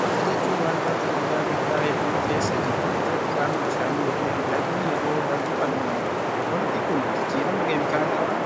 Holqa jechuun waan bakka dhagaa guddaa hedduun keessa jiru irratti qaamni bishaanii yookin lagni yeroo darbu kan uumamuu dha. Holqi kun jijjirama keemikaalawaa